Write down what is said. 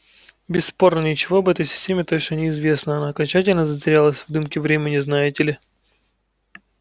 бесспорно ничего об этой системе точно не известно она окончательно затерялась в дымке времени знаете ли